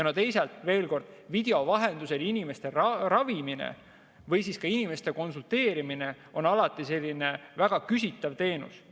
Teisalt veel kord: video vahendusel inimeste ravimine või ka inimeste konsulteerimine on alati väga küsitav teenus.